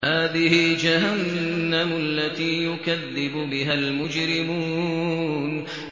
هَٰذِهِ جَهَنَّمُ الَّتِي يُكَذِّبُ بِهَا الْمُجْرِمُونَ